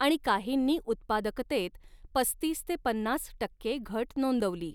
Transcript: आणि काहींनी उत्पादकतेत पस्तीस ते पन्नास टक्के घट नोंदवली.